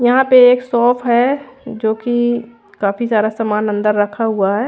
यहाँ पे एक शॉप है जो की काफी सारा सामान अंदर रखा हुआ है।